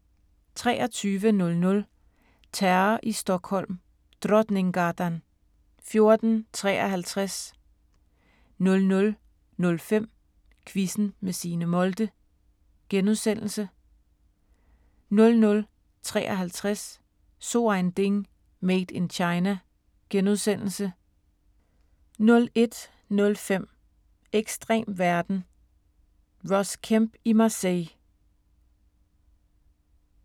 23:00: Terror i Stockholm: Drottninggatan 14:53 00:05: Quizzen med Signe Molde * 00:35: So ein Ding: Made in China * 01:05: Ekstrem verden – Ross Kemp i Marseille